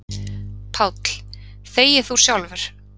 PÁLL: Þegi þú sjálfur!